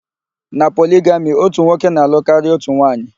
Na poligami, ótù nwoke na-alụ karịa ótù nwaanyị.